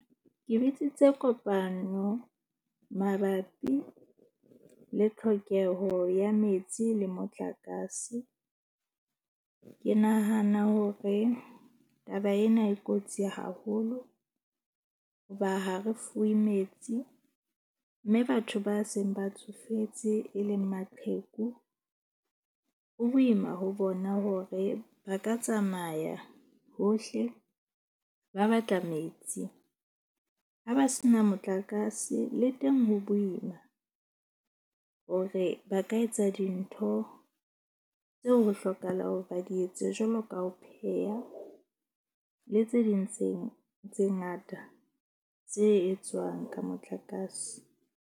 Ke bitsitse kopano mabapi le tlhokeho ya metsi le motlakase. Ke nahana hore taba ena e kotsi haholo hoba ha re fuwe metsi. Mme batho ba seng ba tsofetse e leng maqheku. Ho boima ho bona hore ba ka tsamaya hohle, ba batla metsi. Ha ba se na motlakase le teng ho boima, hore ba ka etsa dintho tse ho hlokahalang hore ba di etse jwalo ka ho pheha le tse ding tse ngata tse etswang ka motlakase.